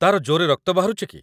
ତା'ର ଜୋର୍‌ରେ ରକ୍ତ ବାହାରୁଚି କି?